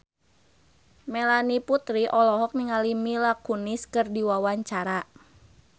Melanie Putri olohok ningali Mila Kunis keur diwawancara